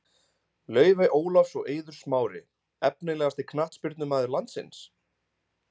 Laufey Ólafs og Eiður Smári Efnilegasti knattspyrnumaður landsins?